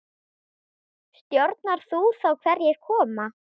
Stjórnar þú þá hverjir koma?